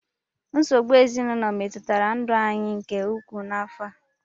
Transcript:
Nsogbu ezinụlọ metụtara ndụ anyị nke ukwuu n'afọ a.